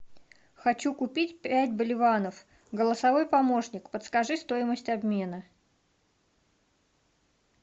хочу купить пять боливаров голосовой помощник подскажи стоимость обмена